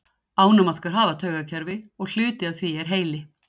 Ánamaðkar hafa taugakerfi og hluti af því er heili.